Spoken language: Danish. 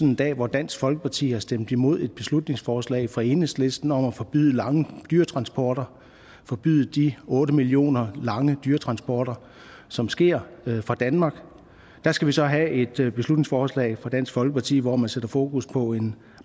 en dag hvor dansk folkeparti har stemt imod et beslutningsforslag fra enhedslisten om at forbyde lange dyretransporter forbyde de otte millioner lange dyretransporter som sker fra danmark der skal vi så have et beslutningsforslag fra dansk folkeparti hvor man sætter fokus på en